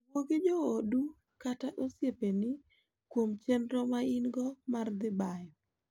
Wuo gi joodu kata osiepeni kuom chenro ma in-go mar dhi bayo.